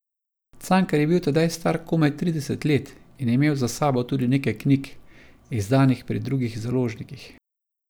Cankar je bil tedaj star komaj trideset let in je imel za sabo tudi nekaj knjig, izdanih pri drugih založnikih.